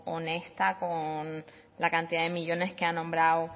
honesta con la cantidad de millónes que ha nombrado